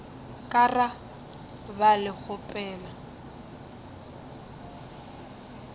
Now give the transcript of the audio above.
ka ra ba le kgopelo